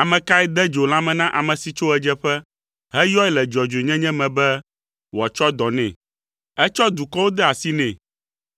“Ame kae de dzo lãme na ame si tso ɣedzeƒe, heyɔe le dzɔdzɔenyenye me be wòatsɔ dɔ nɛ? Etsɔ dukɔwo de asi nɛ,